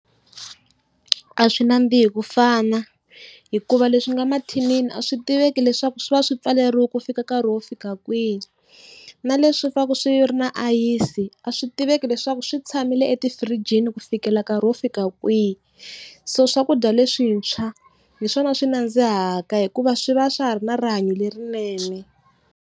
A swi nandzihi kufana hikuva leswi nga mathinini a swi tiveki leswaku swi va swi pfaleriwa ku fika nkarhi wo fika kwihi. Na leswi swi vaka swi ri na ayisi a swi tiveki leswaku swi tshamile etifirijini ku fikela nkarhi wo fika kwihi. So swakudya leswintshwa hi swona swi nandzihaka hikuva swi va swa ha ri na rihanyo lerinene.